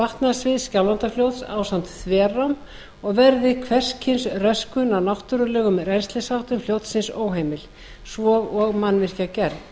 vatnasviðs skjálfandafljóts ásamt þverám og verði hvers kyns röskun á náttúrulegum rennslisháttum fljótsins óheimil svo og mannvirkjagerð